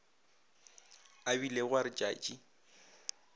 a bilego a re tšatši